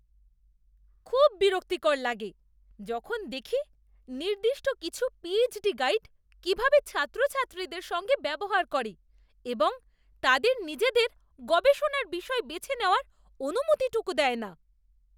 খুব বিরক্তিকর লাগে যখন দেখি নির্দিষ্ট কিছু পিএইচডি গাইড কীভাবে ছাত্রছাত্রীদের সঙ্গে ব্যবহার করে এবং তাদের নিজেদের গবেষণার বিষয় বেছে নেওয়ার অনুমতিটুকু দেয় না।